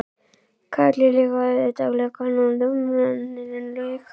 Kalli líka, og auðvitað löggan og dómararnir, en lög